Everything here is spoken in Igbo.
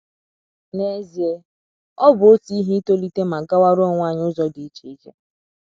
N’ezie, ọ bụ otu ihe itolite ma gawara onwe anyi ụzo idi icheiche